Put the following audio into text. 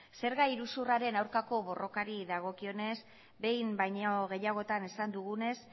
zerga iruzurraren aurkako borrokari dagokionez behin baino gehiagotan esan dugunez